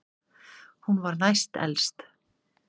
Hún var næst elst.